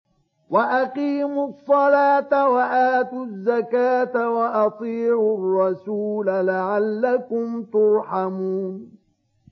وَأَقِيمُوا الصَّلَاةَ وَآتُوا الزَّكَاةَ وَأَطِيعُوا الرَّسُولَ لَعَلَّكُمْ تُرْحَمُونَ